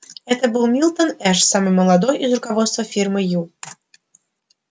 это был милтон эш самый молодой из руководства фирмы ю